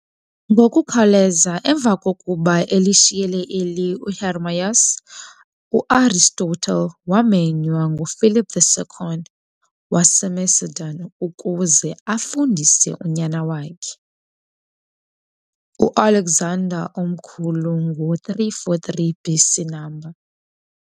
Ngokukhawuleza emva kokuba elishiyile eli uHermias, uAristotle waamenywa nguPhilip II waseMacedon ukuze afundise unyana wakhe uAlexander omkhulu ngo343 B.C. no.